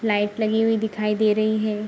Light लगी हुई दिखाई दे रही है।